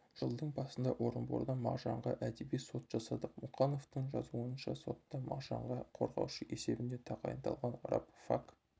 жылдың басында орынборда мағжанға әдеби сот жасадық мұқановтың жазуынша сотта мағжанға қорғаушы есебінде тағайындалған рабфак